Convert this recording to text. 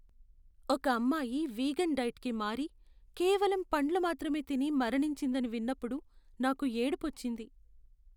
ఒక అమ్మాయి vegan diet కి మారి, కేవలం పండ్లు మాత్రమే తిని మరణించిందని విన్నపుడు నాకు ఏడుపు వచ్చింది.